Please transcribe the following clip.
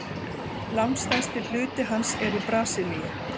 Langstærsti hluti hans er í Brasilíu.